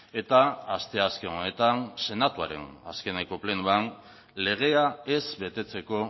eta asteazken honetan senatuaren azkeneko plenoan legea ez betetzeko